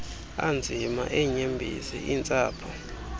anzima eenyembezi intsapho